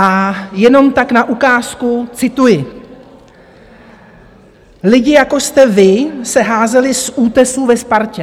A jenom tak na ukázku, cituji: "Lidi jako jste vy se házeli z útesů ve Spartě.